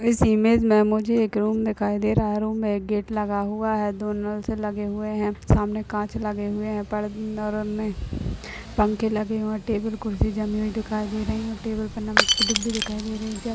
इस इमेज मुझे एक रूम दिखाई दे रहा है रूम में एक गेट लगा हुआ है दो नल लगे हुए है सामने कांच लगे हुए है पंखे लगे हुए है टेबल कुर्सी जमी हुई दिखाई दे रही है टेबल पर नमक की डीबी दिखाई दे रही है।